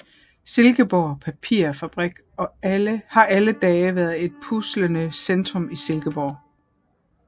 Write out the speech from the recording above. Silkeborg Papirfabrik har alle dage været et pulserende centrum i Silkeborg